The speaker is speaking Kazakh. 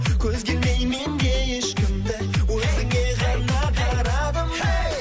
көзге ілмей мен де ешкімді өзіңе ғана қарадым әй